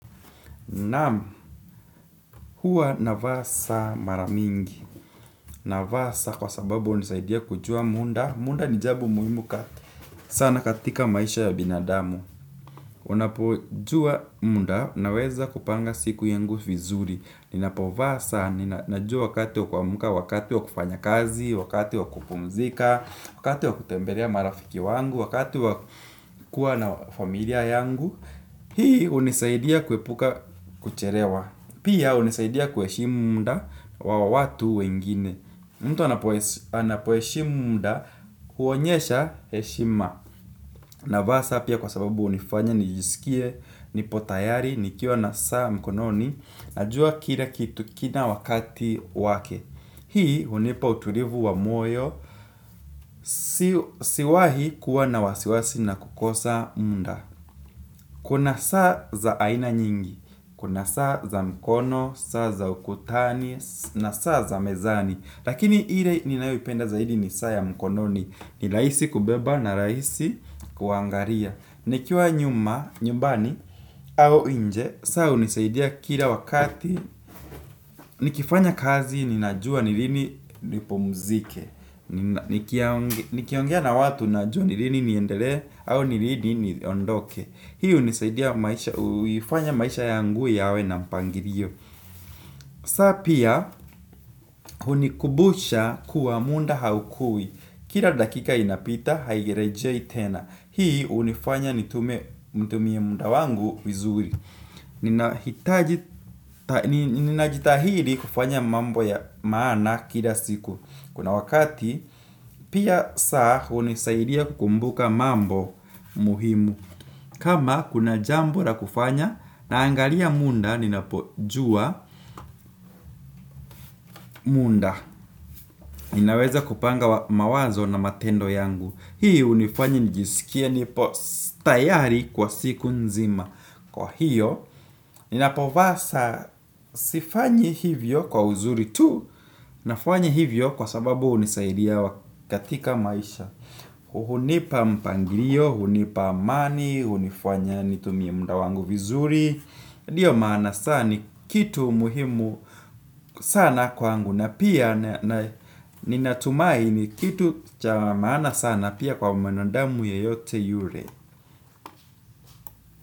Namu, huwa na vaa saa maramingi. Na vaa saa kwa sababu unisaidia kujua munda. Munda ni jabo muhimu kati. Sana katika maisha ya binadamu. Unapo jua munda na weza kupanga siku yangu fizuri. Ninapo vaa saa, nina jua wakati wa kuamuka, wakati wa kufanya kazi, wakati wa kupumzika, wakati wa kutembelea marafiki wangu, wakati wa kuwa na familia yangu. Hii unisaidia kuepuka kuchelewa. Pia hunisaidia kueshimu munda wa watu wengine. Mtu anapuheshimu munda huonyesha heshima. Na vaa saa pia kwa sababu unifanya nijisikie, nipotayari, nikiwa na saa mkononi, najua kila kitu kina wakati wake. Hii hunipa utulivu wa moyo, siwahi kuwa na wasiwasi na kukosa munda. Kuna saa za aina nyingi, kuna saa za mkono, saa za ukutani, na saa za mezani. Lakini ile ninayoipenda zaidi ni saa ya mkononi, ni raisi kubeba na raisi kuangalia. Nikiwa nyuma, nyumbani, au inje, saa hunisaidia kila wakati, nikifanya kazi, ninajua ni lini nipumuzike. Nikiongea na watu na jua nilini niendele au nilini niondoke. Hii hunisaidia maisha. Uifanya maisha yangu yawe na mpangilio. Saa pia hunikubusha kuwa munda haukui. Kila dakika inapita. Hairejei tena. Hii unifanya nitume. Mutumie munda wangu vizuri. Ninahita jitahili kufanya mambo ya maana kila siku. Kuna wakati. Pia saa unisaidia kukumbuka mambo muhimu kama kuna jambo la kufanya naangalia munda ninapojua munda. Ninaweza kupanga mawazo na matendo yangu. Hii unifanyi nijisikia nipo tayari kwa siku nzima. Kwa hiyo, ninapovaa saa sifanyi hivyo kwa uzuri tu. Nafanyi hivyo kwa sababu hunisaidia katika maisha. Hunipa mpangilio, hunipa amani, hunifuanya nitumie muda wangu vizuri ndio maana saa ni kitu muhimu sana kwa wangu. Na pia ninatumai ni kitu cha maana sana pia kwa mwanadamu yeyote yure.